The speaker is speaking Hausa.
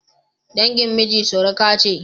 dangin miji suruka ce